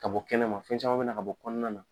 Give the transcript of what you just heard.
Ka bɔ kɛnɛma fɛn caman bɛ na ka bɔ kɔnɔna na.